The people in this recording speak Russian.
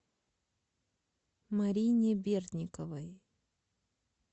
марине бердниковой